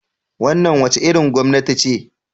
Wannan wace irin gwamnati ce?